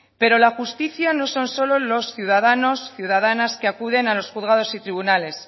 pero la justicia no son solo los ciudadanos y ciudadanas que acuden a los juzgados y tribunales